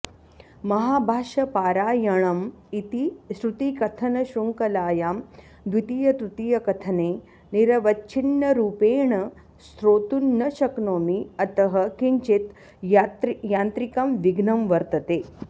महाभाष्यपारायणम् इति श्रुतिकथनशृङ्खलायां द्वितीयतृतीयकथने निरवच्छिन्नरूपेण श्रोतुं न शक्नोमि अतः किञ्चित् यान्त्रिकं विघ्नं वर्तते